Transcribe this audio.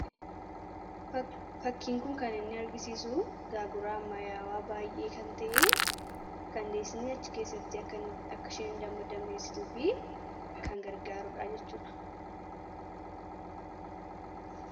fakkiinkun kan inni argisiisu gaaguraa mayaawaa baay'ee kan ta'e kandeesni achi keessatti akka sheen damadameessituu fi kan gargaaruudhaa jechuudha